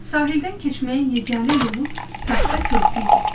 Sahildən keçməyin yeganə yolu taxta körpü idi.